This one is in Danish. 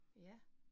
Ja